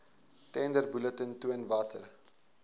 tenderbulletin toon watter